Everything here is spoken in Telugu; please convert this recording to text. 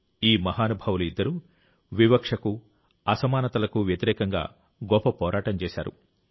ఈ మహానుభావులు ఇద్దరూ వివక్షకు అసమానతలకు వ్యతిరేకంగా గొప్ప పోరాటం చేశారు